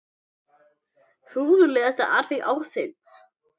Furðulegasta atvik ársins?